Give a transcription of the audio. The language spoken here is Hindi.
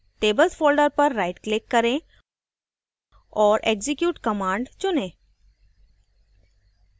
tables folder पर rightclick करें औऱ execute command चुनें